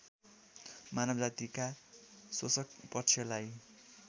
मानवजातिका शोषकपक्षलाई